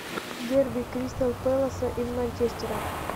дерби кристал пэласа и манчестера